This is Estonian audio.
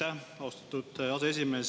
Aitäh, austatud aseesimees!